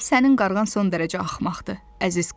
Sənin qarğan son dərəcə axmaqdır, əziz Karus.